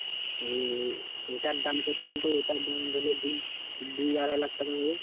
ওটার দাম কত বলতো ওটার দাম ধরেনে তুই দু আড়াই লাখ টাকা হবে।